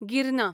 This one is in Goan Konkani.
गिरना